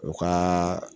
U ka